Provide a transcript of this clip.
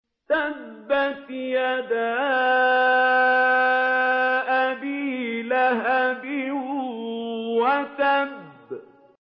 تَبَّتْ يَدَا أَبِي لَهَبٍ وَتَبَّ